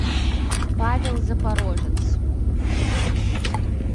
павел запорожец